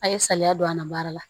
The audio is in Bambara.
A' ye saliya don a na baara la